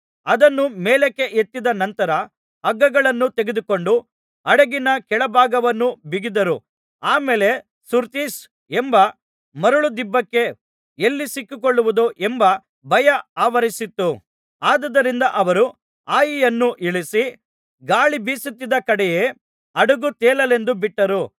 ಅದನ್ನು ಮೇಲಕ್ಕೆ ಎತ್ತಿದ ನಂತರ ಹಗ್ಗಗಳನ್ನು ತೆಗೆದುಕೊಂಡು ಹಡಗಿನ ಕೆಳಭಾಗವನ್ನು ಬಿಗಿದರು ಆ ಮೇಲೆ ಸುರ್ತಿಸ್ ಎಂಬ ಮರಳುದಿಬ್ಬಕ್ಕೆ ಎಲ್ಲಿ ಸಿಕ್ಕಿಕೊಳ್ಳುವುದೋ ಎಂಬ ಭಯ ಆವರಿಸಿತು ಆದುದರಿಂದ ಅವರು ಹಾಯಿಯನ್ನು ಇಳಿಸಿ ಗಾಳಿ ಬೀಸುತ್ತಿದ್ದ ಕಡೆಯೇ ಹಡಗು ತೇಲಲೆಂದು ಬಿಟ್ಟರು